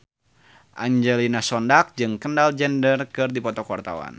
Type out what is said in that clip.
Angelina Sondakh jeung Kendall Jenner keur dipoto ku wartawan